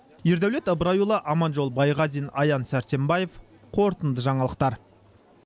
ердәулет ыбырайұлы аманжол байғазин аян сәрсенбаев қорытынды жаңалықтар